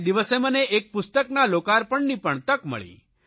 તે દિવસે મને એક પુસ્તકના લોકાર્પણની પણ તક મળી